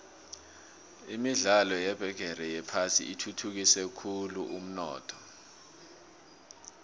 imidlalo yebigixi yephasi ithuthukise khulvumnotho